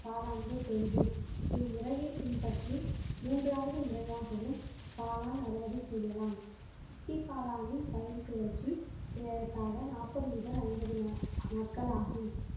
காளான்கள் தோன்றும் இம்முறையை பின்பற்றி மூன்றாவது முறையாகவும் காளான் அறுவடை செய்யலாம் சிப்பி காளானின் பயிர் சுழற்சி ஏறத்தாழ நாற்பது முதல் ஐம்பது நா~ நாட்கள் ஆகும்